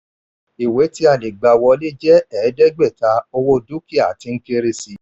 ìwé tí a lè gbà wọlé jẹ́ ẹ̀ẹ́dẹ́gbẹ̀ta owó dúkìá tí ń kéré sí i.